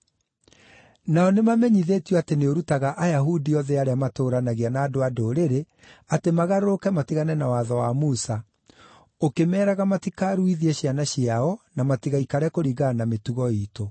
Nao nĩmamenyithĩtio atĩ nĩ ũrutaga Ayahudi othe arĩa matũũranagia na andũ-a-Ndũrĩrĩ atĩ magarũrũke matigane na watho wa Musa, ũkĩmeeraga matikaruithie ciana ciao na matigaikare kũringana na mĩtugo iitũ.